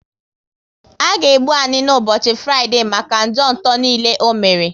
A ga egbu Anini ụbọchị Fraịdee maka njọ nto niile o mere